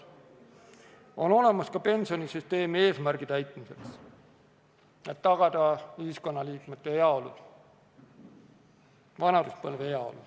Need on olemas ka pensionisüsteemi eesmärgi täitmiseks: tagada ühiskonnaliikmete heaolu vanaduspõlves.